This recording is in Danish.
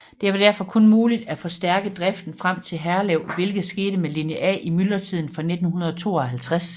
Det var derfor kun muligt at forstærke driften frem til Herlev hvilket skete med linje A i myldretiden fra 1952